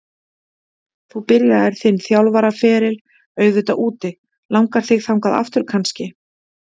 Þú byrjaðir þinn þjálfaraferil auðvitað úti, langar þig þangað aftur kannski?